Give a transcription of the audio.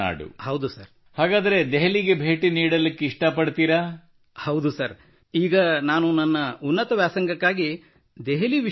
ಹೌದು ಸರ್ ಈಗ ನಾನು ನನ್ನ ಉನ್ನತ ವ್ಯಾಸಂಗಕ್ಕಾಗಿ ದೆಹಲಿ ವಿಶ್ವವಿದ್ಯಾಲಯದಲ್ಲಿ ಅರ್ಜಿ ಸಲ್ಲಿಸಲಿದ್ದೇನೆ sir now I am applying in Delhi university for my higher studies